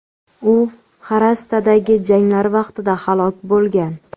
U Xarastadagi janglar vaqtida halok bo‘lgan.